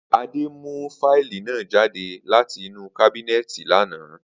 Ade mu fáìlì naa jade lati inu kábínéètì lana.